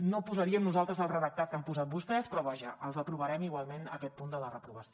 no posaríem nosaltres el redactat que han posat vostès però vaja els aprovarem igualment aquest punt de la reprovació